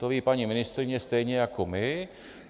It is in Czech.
To ví paní ministryně stejně jako my.